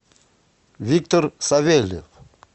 виктор савельев